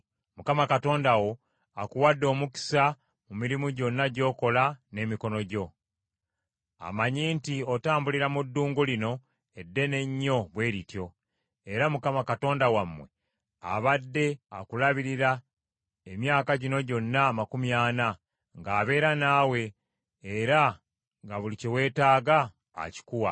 Mukama Katonda wo akuwadde omukisa mu mirimu gyonna gy’okola n’emikono gyo. Amanyi nti otambulira mu ddungu lino eddene ennyo bwe lityo. Era Mukama Katonda wammwe abadde akulabirira emyaka gino gyonna amakumi ana, ng’abeera naawe, era nga buli kye weetaaga akikuwa.